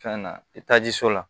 Fɛn na i taji so la